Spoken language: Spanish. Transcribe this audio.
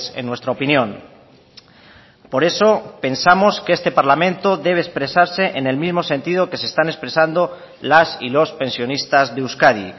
en nuestra opinión por eso pensamos que este parlamento debe expresarse en el mismo sentido que se están expresando las y los pensionistas de euskadi